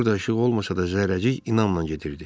Burada işıq olmasa da, Zərrəcik inanla gedirdi.